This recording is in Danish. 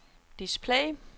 display